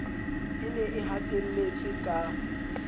e ne e hatelletswe ka